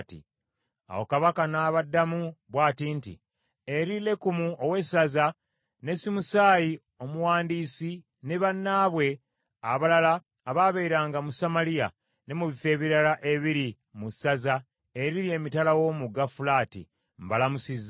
Awo kabaka n’abaddamu bw’ati nti: Eri Lekumu ow’essaza, ne Simusaayi omuwandiisi ne bannaabwe abalala abaabeeranga mu Samaliya, ne mu bifo ebirala ebiri mu ssaza eriri emitala w’omugga Fulaati, Mbalamusizza.